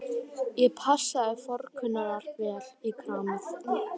Ég passaði forkunnar vel í kramið.